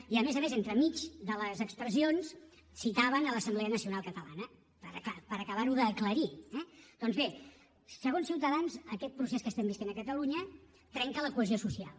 i a més a més entremig de les expressions citaven l’assemblea nacional catalana per acabar ho d’aclarir eh doncs bé segons ciutadans aquest procés que vivim a catalunya trenca la cohesió social